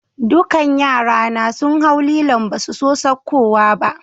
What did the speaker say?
Dukan yra na sun hau lilon' ba su so saukowa ba.